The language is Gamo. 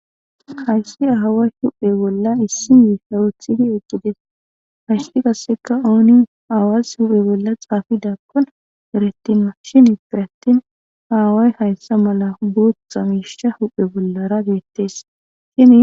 Hayssi ahaway huphe bolla issi yi sawothidi eqgides haysti kasseka ooni aawas huphe bolla xaafidakkon erattinma shin i perettin aaway hayssa mala boothtxa mishsha huphe bollara geettees shi.